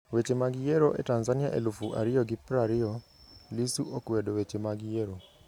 Weche mag Yiero e Tanzania elufu ariyo gi prariyo: Lissu okwedo weche mag yiero